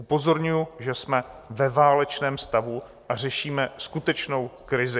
Upozorňuji, že jsme ve válečném stavu a řešíme skutečnou krizi.